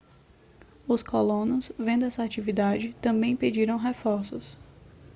os colonos vendo essa atividade também pediram reforços